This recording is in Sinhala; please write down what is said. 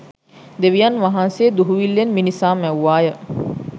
දෙවියන් වහන්සේ දුහුවිල්ලෙන් මිනිසා මැව්වාය